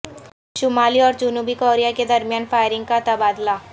شمالی اور جنوبی کوریا کے درمیان فائرنگ کا تبادلہ